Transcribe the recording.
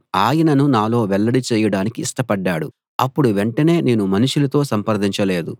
ఆయనను నాలో వెల్లడి చేయడానికి ఇష్టపడ్డాడు అప్పుడు వెంటనే నేను మనుషులతో సంప్రదించలేదు